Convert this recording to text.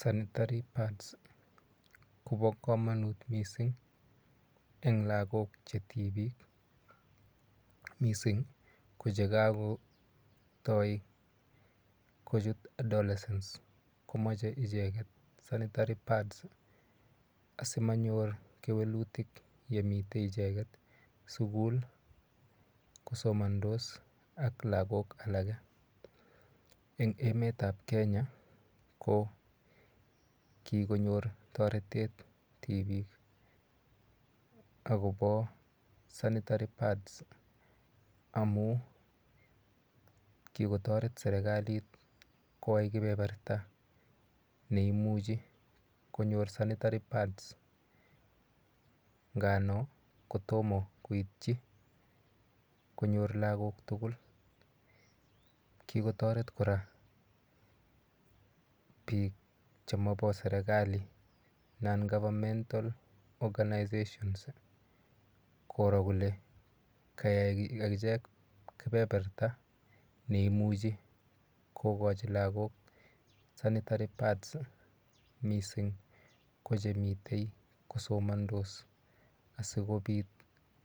Sanitary pads kopo komonut mising eng lakok che tipik mising ko chekakotoi kochut adolescent komochei icheket sanitary pads asimanyor kewelutik yemitei icheket sukul kosomondos ak lakok alak eng emet ap Kenya ko kikonyor toretet tipik akopo sanitary pads amu kikotoret serikalit koai kepeperta neimuchi konyor sanitary pads ngano kotomo koitchi konyor lakok tukul kikotoret kora biik chemapo serikali non governmental organizations koro kole kakicheng kepeperta neimuchi kokochi lakok sanitary pads mising ko chemitei kosomondos asikopit